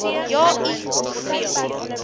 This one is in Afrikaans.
ja i hoeveel